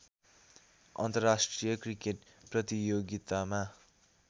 अन्तर्राष्ट्रिय क्रिकेट प्रतियोगितामा